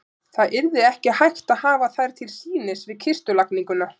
Það yrði ekki hægt að hafa þær til sýnis við kistulagningu.